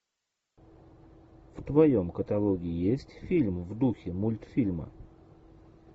в твоем каталоге есть фильм в духе мультфильма